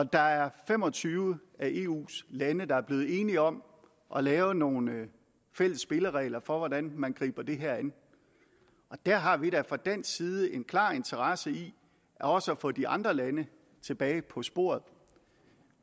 der er fem og tyve af eus lande der er blevet enige om at lave nogle fælles spilleregler for hvordan man griber det her an og der har vi da fra dansk side en klar interesse i også at få de andre lande tilbage på sporet